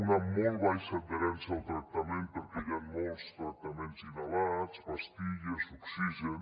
una molt baixa adherència al tractament perquè hi han molts tractaments inhalats pastilles oxigen